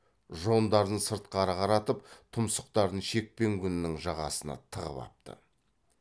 жондарын сыртқары қаратып тұмсықтарын шекпен күнінің жағасына тығып апты